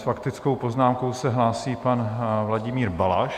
S faktickou poznámkou se hlásí pan Vladimír Balaš.